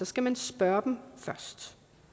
skal man spørge dem først